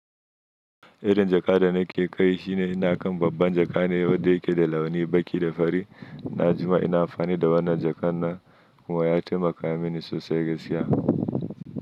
Irin jaka da nake kai shi ne ina kan babban jaka ne wanda yake da launi baki da fari na jima. Ina amfani da wannan jakar na kuma ya taimaka mini sosai gaskiya.